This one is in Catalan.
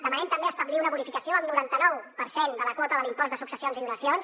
demanem també establir una bonificació del noranta nou per cent de la quota de l’impost de successions i donacions